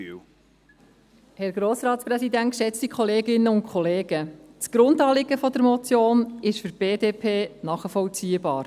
Das Grundanliegen der Motion, oder jetzt des Postulats, ist für die BDP nachvollziehbar.